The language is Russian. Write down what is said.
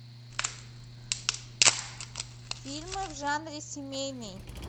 фильмы в жанре семейный